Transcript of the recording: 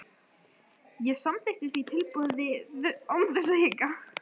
Ég samþykkti því tilboðið án þess að hika.